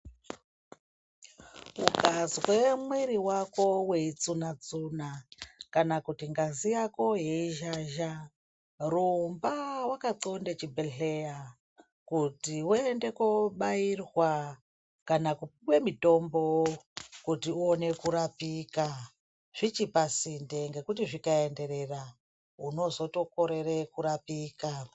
Ukazwe mwiri wako weitsuna tsuna kana kuti ngazi yako yei zhazha rumba wakandxonde chibhedhlera kuti uende kobairwa kana kupuwe mutombo kuti uone kurapika zvichipasinde ngekuti zvikaenderera unozotokorere kurapika.